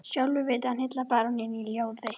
Sjálfur vildi hann hylla baróninn í ljóði: